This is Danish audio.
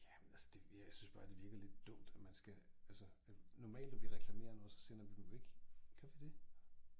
Ja men altså det jeg synes bare det virker lidt dumt at man skal altså at normalt når vi reklamerer noget så sender vi jo ikke gør vi det